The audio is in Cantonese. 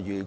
如